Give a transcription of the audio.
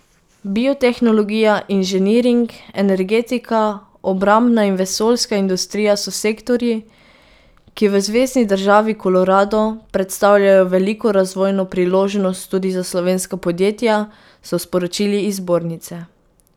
Biotehnologija, inženiring, energetika, obrambna in vesoljska industrija so sektorji, ki v zvezni državi Kolorado predstavljajo veliko razvojno priložnost tudi za slovenska podjetja, so sporočili iz zbornice.